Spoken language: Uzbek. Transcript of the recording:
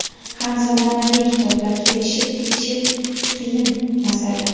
ham zamonaviy kitoblar kelishib ketishi qiyin masala.